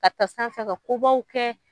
Ka taa sanfɛ ka kobaw kɛ.